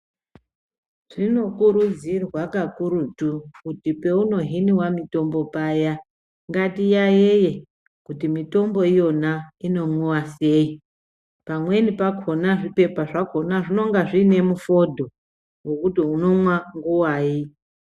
Zvinokurudzirwa kakurutu kuti paunohinwa mitombo paya ngatiyayiye kuti mitombo yakona inomwiwa seyi pamweni pakona zvipepa zvakona zvinenge zvinemufondo wekuti unomwa nguvai.